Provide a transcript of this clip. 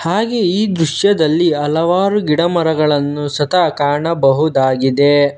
ಹಾಗೆ ಈ ದೃಶ್ಯದಲ್ಲಿ ಹಲವಾರು ಗಿಡಮರಗಳನ್ನು ಸತ ಕಾಣಬಹುದಾಗಿದೆ.